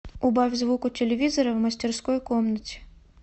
убавь звук у телевизора в мастерской комнате